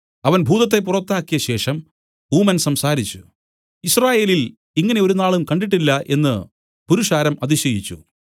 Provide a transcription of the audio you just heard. അവൻ ഭൂതത്തെ പുറത്താക്കിയ ശേഷം ഊമൻ സംസാരിച്ചു യിസ്രായേലിൽ ഇങ്ങനെ ഒരുനാളും കണ്ടിട്ടില്ല എന്നു പുരുഷാരം അതിശയിച്ചു